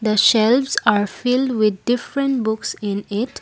the shelves are filled with different books in it.